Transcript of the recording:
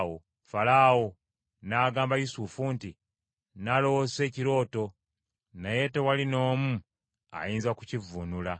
Falaawo n’agamba Yusufu nti, “Naloose ekirooto, naye tewali n’omu ayinza kukivvuunula.”